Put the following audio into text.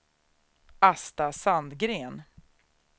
Asta Sandgren